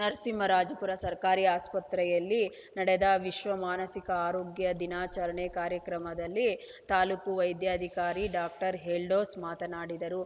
ನರಸಿಂಹರಾಜಪುರ ಸರ್ಕಾರಿ ಆಸ್ಪತ್ರೆಯಲ್ಲಿ ನಡೆದ ವಿಶ್ವ ಮಾನಸಿಕ ಆರೋಗ್ಯ ದಿನಾಚರಣೆ ಕಾರ್ಯಕ್ರಮದಲ್ಲಿ ತಾಲೂಕು ವೈದ್ಯಾಧಿಕಾರಿ ಡಾಕ್ಟರ್ ಎಲ್ಡೋಸ್‌ ಮಾತನಾಡಿದರು